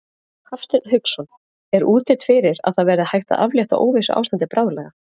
Hafsteinn Hauksson: Er útlit fyrir að það verði hægt að aflétta óvissuástandi bráðlega?